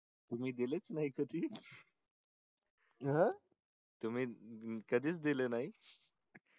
तुम्ही दिले च नई कधी तुम्ही कधी च दिले नई